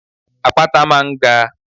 Àpáta máa ń ga.